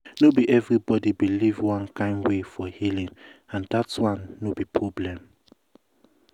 no be everybody believe one kind way for healing and that one no be problem.